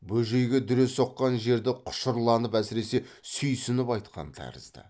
бөжейге дүре соққан жерді құшырланып әсіресе сүйсініп айтқан тәрізді